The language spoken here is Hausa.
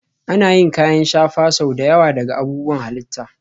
Ana yin kayan shafa sau da yawa daga abubuwan halitta